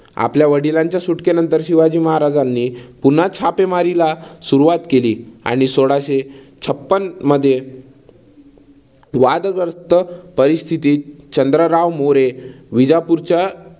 आपल्या वडिलांच्या सुटकेनंतर शिवाजी महाराजांनी पुन्हा छापेमारीला सुरुवात केली आणि सोळाशे छप्पन मध्ये वाद्ग्रस्थ परिस्थितीत चंद्रराव मोरे विजापूरचा